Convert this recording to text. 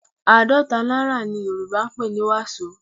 Àádọ́ta náírà ni Yorùbá ń pè ní wàsó